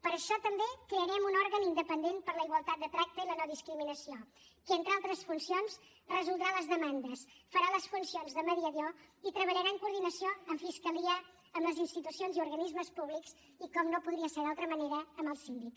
per això també crearem un òrgan independent per a la igualtat de tracte i la no discriminació que entre altres funcions resoldrà les demandes farà les funcions de mediació i treballarà en coordinació amb fiscalia amb les institucions i organismes públics i com no podria ser d’altra manera amb el síndic